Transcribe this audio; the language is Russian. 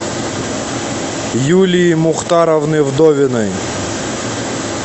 юлии мухтаровны вдовиной